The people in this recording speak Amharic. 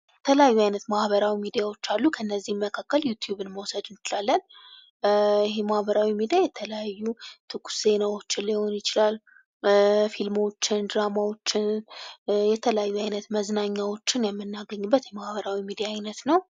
የተለያዩ አይነት ማህበራዊ ሚዲያዎች አሉ። ከነዚህም መካከል ዩቲዩብን መውሰድ እንችላለን። ይህ ማህበራዊ ሚዲያ የተለያዩ ትኩስ ዜናዎች ሊሆኑ ይችላሉ ፊልሞችን፣ ድራማዎችን ፣የተለያዩ አይነት መዝናኛዎችን የምናገኝበት የማህበራዊ ሚዲያ አይነት ነው።